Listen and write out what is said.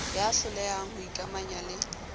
ya hlolehang ho ikamanya le